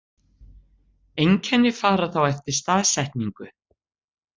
Einkenni fara þá eftir staðsetningu.